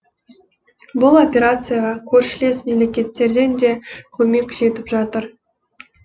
бұл операцияға көршілес мемлекеттерден де көмек жетіп жатыр